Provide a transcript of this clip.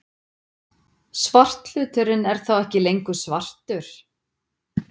Svarthluturinn er þá ekki lengur svartur!